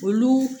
Olu